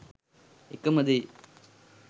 එකම දේ.